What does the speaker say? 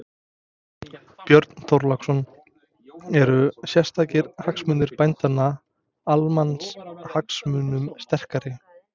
Björn Þorláksson: Eru sértækir hagsmunir bændanna, almannahagsmunum sterkari?